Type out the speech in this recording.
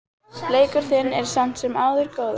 Leikur þinn er samt sem áður góður.